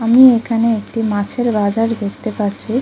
আমি এখানে একটি মাছের বাজার দেখতে পারছি।